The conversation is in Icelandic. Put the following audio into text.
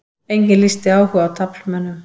Enginn lýsti áhuga á taflmönnum